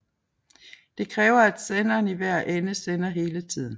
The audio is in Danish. Det kræver at senderen i hver ende sender hele tiden